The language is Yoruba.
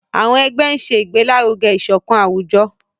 àwọn ẹgbẹ ń ṣe igbelaruge isokan awujọ.